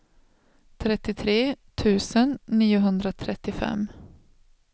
trettiotre tusen niohundratrettiofem